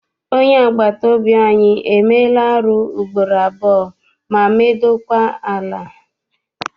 Onye agbata obi anyị emeela arụ ugboro abụọ ma meda kwa ala.